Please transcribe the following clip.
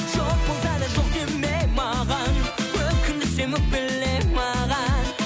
жоқ болса да жоқ деме маған өкіндірсем өкпеле маған